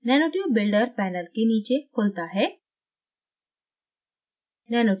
nanotube builderपैनल के नीचे खुलता है